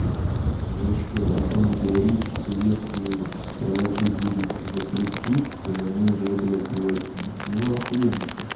короче антон говорит что если проваки будут за коллектив то они уже блядь леваки ну ахуенно что